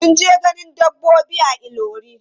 Sun je ganin dabbobi a Ilorin.